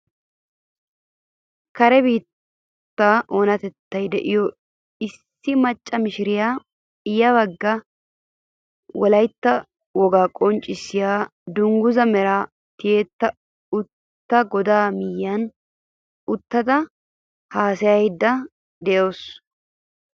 Kare biittaa oonatettay de'iyoo issi macca mishiriyaa ya baggaara wolaytta wogaa qonccisiyaa dunguzaa meray tiyettidi uttido godaa miyiyaan uttada haasayayda de'awus.